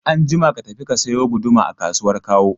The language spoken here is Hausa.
Anjima ka tafi ka sayo guduma a kasuwar Kawo!